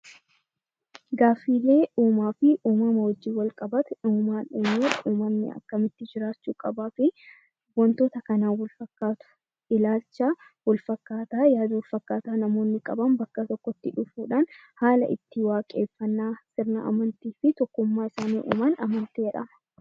Gaaffilee uumaa fi uumama wajjin wal qabatu, uumaan uumee uumamni akkamitti jiraachuu qabaa fi wantoota kanaan wal fakkaatu fi ilaalcha wal fakkaataa, yaadota wal fakkaataa namoonni qaban bakka tokkotti dhufuudhaan haala itti waaqeffannaa fi tokkummaa isaanii uuman amantii jedhama.